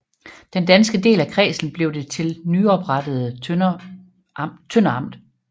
Den danske del af kredsen blev til det nyoprettede Tønder Amt